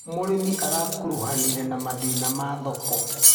Mũrĩmi arakuruhanire na mathina ma thoko.